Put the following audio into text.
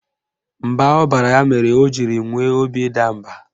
Mba ọ baara ya mere o jiri nwee obi ịda mba